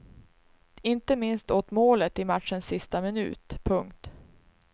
Inte minst åt målet i matchens sista minut. punkt